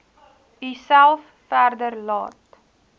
uself verder laat